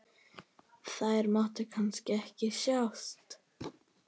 Þær máttu kannski ekki sjást?